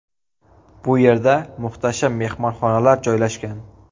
Bu yerda muhtasham mehmonxonalar joylashgan.